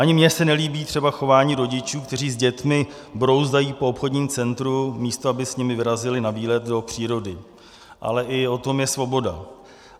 Ani mně se nelíbí třeba chování rodičů, kteří s dětmi brouzdají po obchodním centru, místo aby s nimi vyrazili na výlet do přírody, ale i o tom je svoboda.